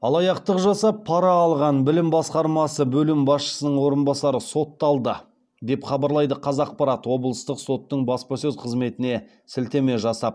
алаяқтық жасап пара алған білім басқармасы бөлім басшысының орынбасары сотталды деп хабарлайды қазақпарат облыстық соттың баспасөз қызметіне сілтеме жасап